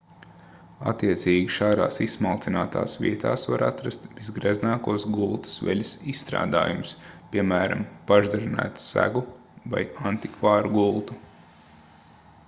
attiecīgi šādās izsmalcinātās vietās var atrast visgreznākos gultas veļas izstrādājumus piemēram pašdarinātu segu vai antikvāru gultu